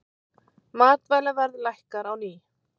Matvælaverð lækkar á ný